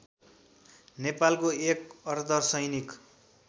नेपालको एक अर्धसैनिक